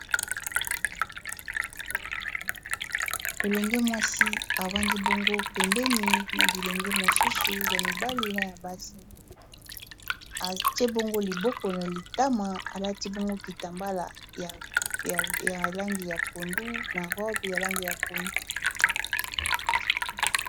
Elenge mwasi evandi bongo pembeni na bilenge mosusu ya mibali na ya basi atie bongo liboko na litama alati bongo kita mbala ya langi ya pondu na rob ya langi ya pondu